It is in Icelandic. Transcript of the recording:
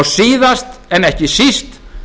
síðast en ekki síst